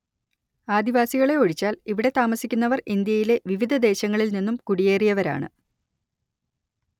ആദിവാസികളെ ഒഴിച്ചാൽ ഇവിടെ താമസിക്കുന്നവർ ഇന്ത്യയിലെ വിവിധ ദേശങ്ങളിൽ നിന്നും കുടിയേറിയവരാണ്‌